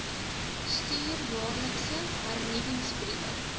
stuur jaarliks hernuwingsbriewe